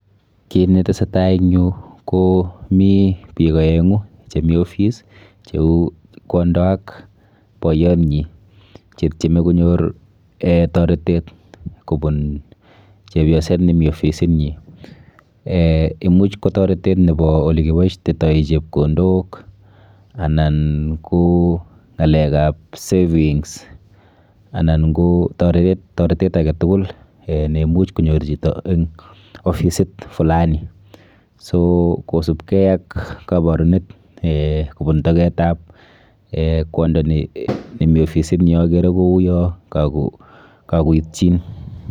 Kit netesetai eng yu ko mi biik aeng'u chemi ofice cheu kwondo ak boiyonyi chetieme konyor toretet kobun chepyoset nemi ofisinyi. Eh imuch ko toretet nepo olekiboishetoi chepkondok anan ko ng'alekap savings anan ko toretet aketukul eh neimuch konyor chito eng ofisit flani. so Kosupkei ak kaborunet eh kobun toketap eh kwondo nemi ofisini akere ku yo kakoitchin.